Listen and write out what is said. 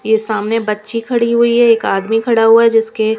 ये सामने बच्ची खड़ी हुई है एक आदमी खड़ा हुआ है जिसके.